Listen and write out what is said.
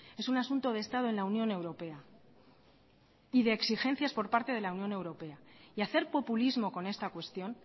es un asunto de estado en la unión europea y de exigencias por parte de la unión europea y hacer populismo con esta cuestión